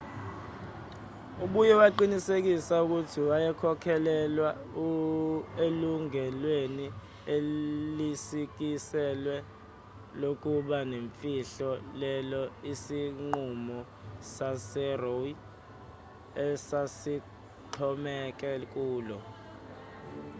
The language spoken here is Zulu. ubuye waqinisekisa ukuthi wayekholelwa elungelweni elisikiselwe lokuba nemfihlo lelo isinqumo saseroe esasixhomeke kulo